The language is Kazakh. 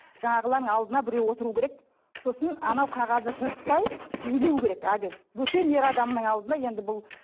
жаңағылардың алдына біреу отыру керек сосын анау қағазды жыртпай билеу керек әлгі бөтен ер адамның алдына енді бұл